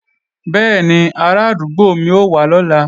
Bẹ́ẹ̀ni, arádúgbò mi ó wá lọ́la